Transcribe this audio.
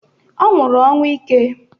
Ọ nwụrụ ọnwụ ike